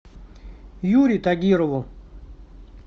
юре тагирову